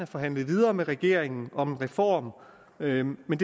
forhandlet videre med regeringen om en reform men men